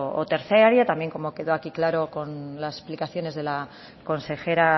o terciaria también como quedó aquí claro con las explicaciones de la consejera